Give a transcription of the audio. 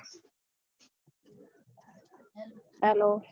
hello